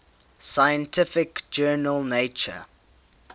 scientific journal nature